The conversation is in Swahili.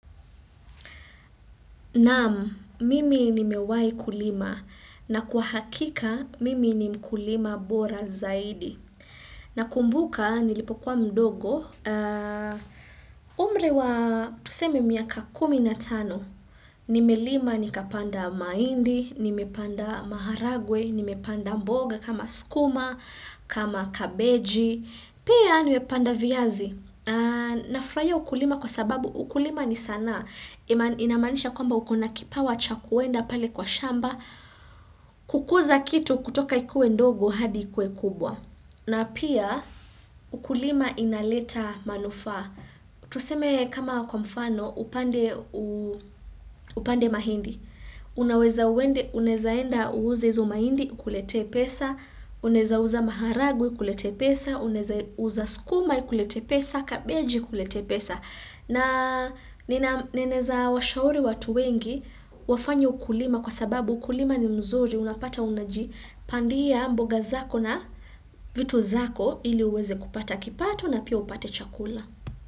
Naam, mimi nimewai kulima na kwa hakika mimi ni mkulima bora zaidi. Nakumbuka nilipokuwa mdogo, umri wa tuseme miaka kumi na tano. Nimelima nikapanda mahindi, nimepanda maharagwe, nime panda mboga kama skuma, kama kabeji, pia nimepanda viazi. Nafurahia ukulima kwa sababu ukulima ni sanaa. Inamanisha kwamba uko na kipawa cha kwenda pale kwa shamba. Kukuza kitu kutoka ikuwe ndogo hadi ikue kubwa. Na pia kulima inaleta manufaa. Tuseme kama kwa mfano, upande mahindi, Unaweza uende, uneza enda uuze hizo mahindi ikuletee pesa, unaeza uza maharage ikuletee pesa, uneza uza sukuma ikuletee pesa, kabeji ikuletee pesa. Na ninaweza washauri watu wengi wafanye ukulima kwa sababu ukulima ni mzuri, unapata unajipandia mboga zako na vitu zako ili uweze kupata kipato na pia upate chakula.